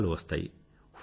ఉత్తరాలు వస్తాయి